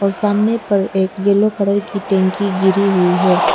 और सामने पर एक येलो कलर की टंकी गिरी हुई है।